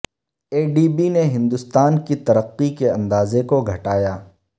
اے D B نے ہندوستان کی ترقی کے اندازہ کوگھٹایا